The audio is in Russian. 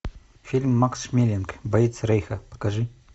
фильм макс шмелинг боец рейха покажи